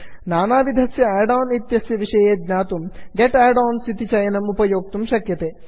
नानाविधस्य add on इत्यस्य विषये ज्ञातुं get add ons get add ons इति चयनम् उपयोक्तुं शक्यते